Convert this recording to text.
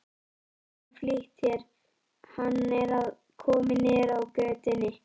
Geturðu flýtt þér. hann er kominn niður á götu!